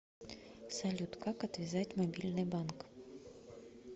салют как отвязать мобильный банк